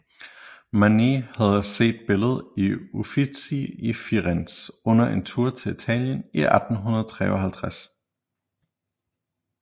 Manet havde set billedet i Uffizi i Firenze under en tur til Italien i 1853